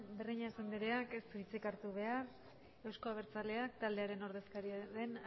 breñas andereak ez du hitzik hartu behar euzko abertzaleak taldearen ordezkaria den